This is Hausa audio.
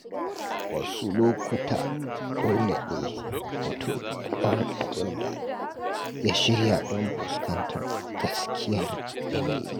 Wasu lokuta, dole ne mutum ya bar abin da ya shirya domin fuskantar gaskiyar yanayi.